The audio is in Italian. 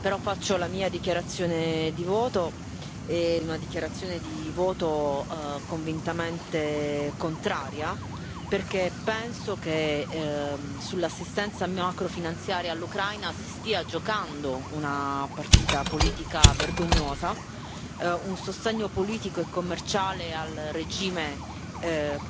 Però faccio la mia dichiarazione di voto, una dichiarazione di voto convintamente contraria, perché penso che sull'assistenza macrofinanziaria all'Ucraina si stia giocando una partita politica vergognosa, si tratta di un sostegno politico e commerciale al regime